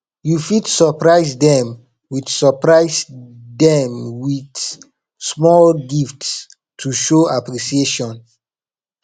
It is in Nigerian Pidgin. you fit surprise them with surprise them with small gift to show appreciation